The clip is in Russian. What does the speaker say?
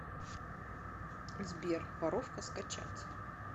сбер воровка скачать